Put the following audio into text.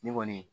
Ne kɔni